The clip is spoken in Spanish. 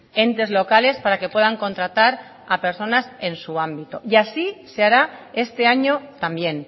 entes locales para que puedan contratar a personas en su ámbito y así se hará este año también